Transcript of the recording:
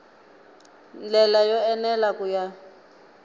ndlela yo enela ku ya